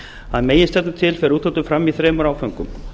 að meginstefnu til fer úthlutun fram í þremur áföngum